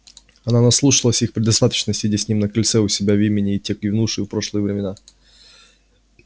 она наслушалась их предостаточно сидя с ним на крыльце у себя в имении в те канувшие в прошлое времена